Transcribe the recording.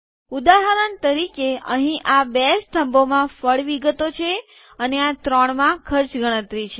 ઉદાહરણ તરીકે અહીં આ બે સ્તંભો માં ફળ વિગતો છે અને આ ત્રણમાં ખર્ચ ગણતરી છે